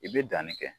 I bɛ danni kɛ